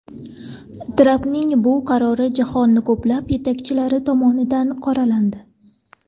Trampning bu qarori jahonning ko‘plab yetakchilari tomonidan qoralandi.